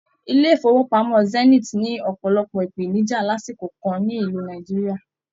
ilé ifowopamọ Zenith ni ọpọlọpọ ipenija lásìkò kàn nílu Nàìjíríà.